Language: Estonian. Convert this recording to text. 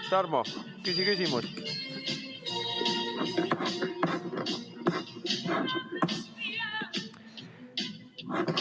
Tarmo, küsi küsimus!